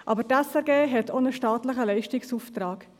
Doch die SRG hat auch einen staatlichen Leistungsauftrag.